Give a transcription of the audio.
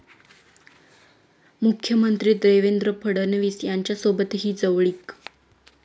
मुख्यमंत्री देवेंद्र फडणवीस यांच्यासोबतही जवळीक